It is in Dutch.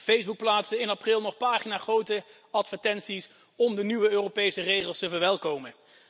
Facebook plaatste in april nog paginagrote advertenties om de nieuwe Europese regels te verwelkomen.